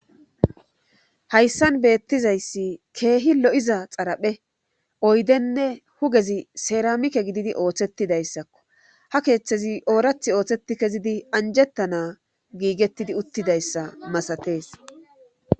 hayssan beettizayssi keehi lo7iza xaraphe oydenne hugezi seeramike gididi ooththettidayssakko ha keeththezi oorath ooththeti kezidi anjettana giigettidi uttidayssa masatees